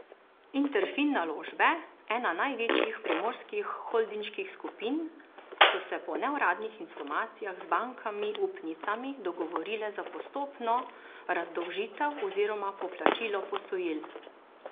Interfin Naložbe, ena največjih primorskih holdinških skupin, so se po neuradnih informacijah z bankami upnicami dogovorile za postopno razdolžitev oziroma poplačilo posojil.